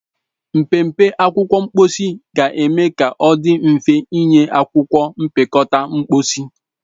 Mpempe akwụkwọ mposi ga-eme ka ọ dị mfe ịnye akwụkwọ mpịakọta mposi.